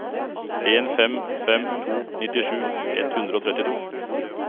en fem fem to nittisju ett hundre og trettito